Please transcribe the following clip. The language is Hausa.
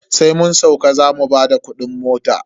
Sai mun sauka zamu bada kudin mota.